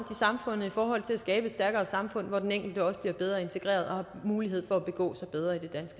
samfundet i forhold til at skabe et stærkere samfund hvor den enkelte også bliver bedre integreret og har mulighed for at begå